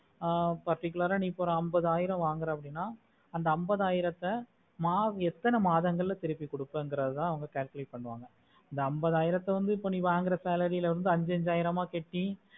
ஆஹ் particular ஆஹ் நீ எப்போ வந்து ஒரு அம்பது ஆயிருப வாங்குற அப்படினா அந்த அம்பது ஆயிரத்தை எத்தனை மாதங்கல்ல திருப்பி குடுக்குறதுதா அவங்க calculate பண்ணுவாங்க அந்த அம்பது ஆயிரத்தை வந்து நீ வாங்குற salary அஞ்சஞ்சைருப கட்டி